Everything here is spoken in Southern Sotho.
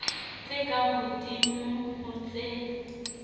tse ka hodimo ho tse